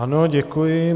Ano, děkuji.